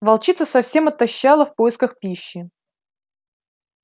волчица совсем отощала в поисках пищи